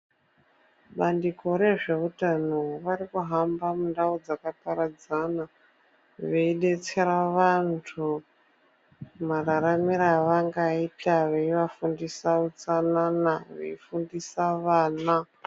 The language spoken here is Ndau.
Bandiko rezveutano varikuhamba mundau dzakaparadzana veidetsera vantu mararamiro avangaita, veivafundisa utsanana, veifundisa vana.